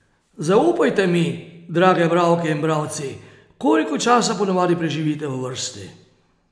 Zaupajte mi, drage bralke in bralci, koliko časa ponavadi preživite v vrsti?